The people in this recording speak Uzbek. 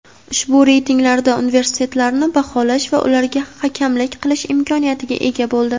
ushbu reytinglarda universitetlarni baholash va ularga hakamlik qilish imkoniyatiga ega bo‘ldi.